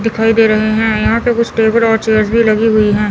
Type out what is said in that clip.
दिखाई दे रहे है यहां पे कुछ टेबल और चेयर्स भी लगी हुई है।